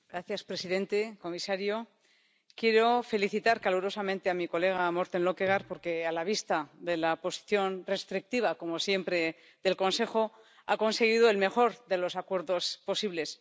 Señor presidente, señor comisario, quiero felicitar calurosamente a mi colega Morten Løkkegaard, porque, a la vista de la posición restrictiva —como siempre— del Consejo, ha conseguido el mejor de los acuerdos posibles.